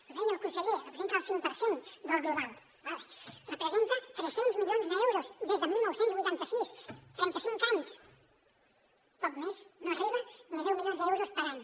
ho deia el conseller representa el cinc per cent del global d’acord representa tres cents milions d’euros des de dinou vuitanta sis trentacinc anys poc més no arriba ni a deu milions d’euros per any